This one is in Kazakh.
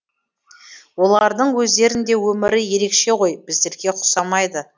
олардың өздерінің де өмірі ерекше ғой біздерге ұқсамайды